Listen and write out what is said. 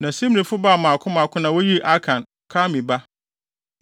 Na Simrifo baa mmaako mmaako na woyii Akan, Karmi ba.